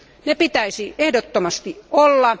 Ne pitäisi ehdottomasti olla.